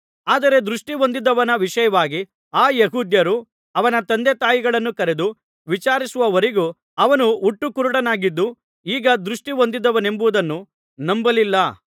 ಆದರೆ ದೃಷ್ಟಿ ಹೊಂದಿದವನ ವಿಷಯವಾಗಿ ಆ ಯೆಹೂದ್ಯರು ಅವನ ತಂದೆತಾಯಿಗಳನ್ನು ಕರೆದು ವಿಚಾರಿಸುವವರೆಗೂ ಅವನು ಹುಟ್ಟು ಕುರುಡನಾಗಿದ್ದು ಈಗ ದೃಷ್ಟಿ ಹೊಂದಿದ್ದಾನೆಂಬುದನ್ನು ನಂಬಲಿಲ್ಲ